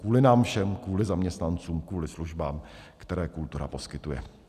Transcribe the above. Kvůli nám všem, kvůli zaměstnancům, kvůli službám, které kultura poskytuje.